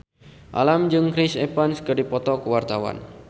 Alam jeung Chris Evans keur dipoto ku wartawan